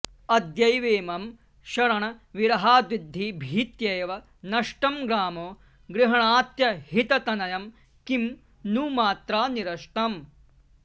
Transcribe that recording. अद्यैवेमं शरणविरहाद्विद्धि भीत्यैव नष्टं ग्रामो गृह्णात्यहिततनयं किं नु मात्रा निरस्तम्